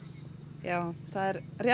já það er rétt